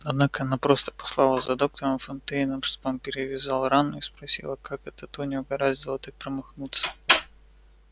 однако она просто послала за доктором фонтейном чтобы он перевязал рану и спросила как это тони угораздило так промахнуться